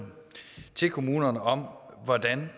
til kommunerne om hvordan